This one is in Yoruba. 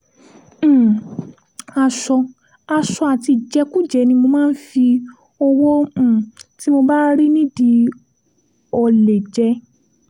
um aṣọ aṣọ àti ìjẹkújẹ ni mo máa ń fọwọ́ um tí mo bá rí nídìí ọ̀lẹ jẹ́